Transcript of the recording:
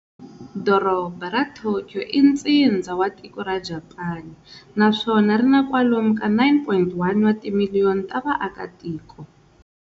Dorobha ra Tokyo i ntsindza wa tiko ra Japani, naswona rina kwalomu ka 9.1 wa timiliyoni ta vaaka tiko.